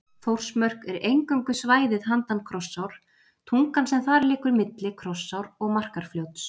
Þórsmörk er eingöngu svæðið handan Krossár, tungan sem þar liggur milli Krossár og Markarfljóts.